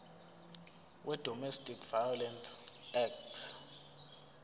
wedomestic violence act